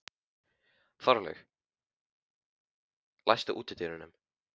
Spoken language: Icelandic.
Þorlaug, læstu útidyrunum.